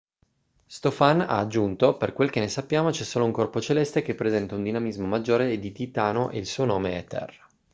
stofan ha aggiunto per quel che ne sappiamo c'è solo un corpo celeste che presenta un dinamismo maggiore di titano e il suo nome è terra